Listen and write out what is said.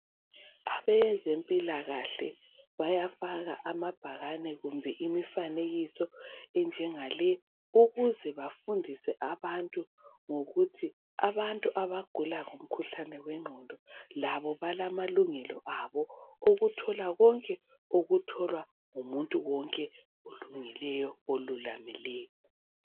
Abezempilakahle bayafaka amabhakane kumbe imifanekiso enjengale ukuze bafundise abantu ngokuthi abantu abagula ngomkhuhlane wengqondo labo balamalungelo abo okuthola konke okutholwa ngumuntu wonke olungileyo , olulamileyo